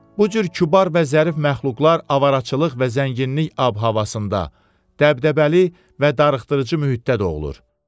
Bu cür kübar və zərif məxluqlar avaracılıq və zənginlik ab-havasında, dəbdəbəli və darıxdırıcı mühitdə doğulur.